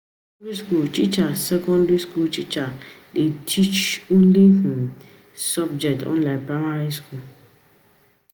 For secondary school teacher secondary school teacher dey teach only um one um subject unlike primary school